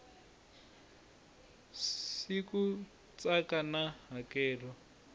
c ku katsa na hakelo